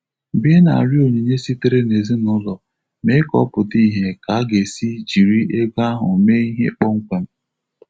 Mgbe ị na-arịọ onyinye sitere n'ezinụlọ, mee ka ọ pụta ìhè ka a ga-esi jiri ego ahụ mee ihe kpọmkwem.